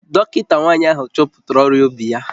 Dọkịta nwanyị ahụ chọpụtara ọrịa obi ya